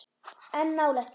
En nálægt því.